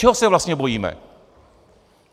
Čeho se vlastně bojíme?